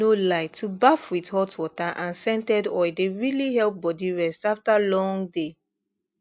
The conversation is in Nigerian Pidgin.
no lie to baff with hot water and scented oil dey really help body rest after long day